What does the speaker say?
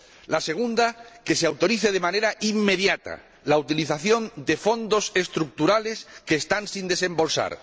la segunda, que se autorice de manera inmediata la utilización de Fondos Estructurales que están sin desembolsar.